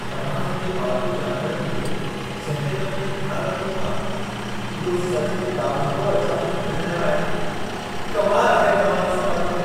तव्हां हिते पालतू जानवरनि जो जहिड़े नमूने ख़याल रखो था, इहो सचु में ॾाढो अचंभे में विझंदड़ आहे। कमाल आहे तव्हां जो समर्पण!